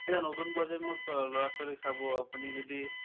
সেইটো নতুন প্ৰজন্মৰ অ ল'ৰা-ছোৱলীক চাব আপুনি যদি